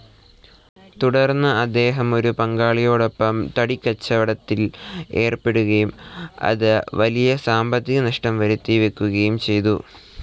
തുടർന്ന് അദ്ദേഹം ഒരു പങ്കാളിയോടൊപ്പം തടിക്കച്ചവടത്തിൽ ഏർപ്പെടുകയും അത് വലിയ സാമ്പത്തിക നഷ്ടം വരുത്തിവെക്കുകയും ചെയ്തു.